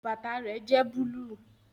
Bàtà rẹ jẹ́ búlúù